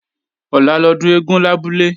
Ọ̀la lọ́dún eégún lábúlé